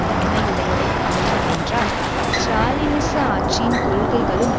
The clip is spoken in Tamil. தன்மையுடையவை போலும் என்றால் ஸ்ராலினிச ஆட்சியின் கொள்கைகளும்